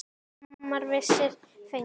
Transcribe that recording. Skammir vissir fengu.